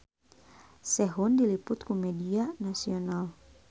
Sehun diliput ku media nasional